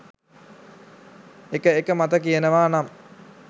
එක එක මත කියනවා නම්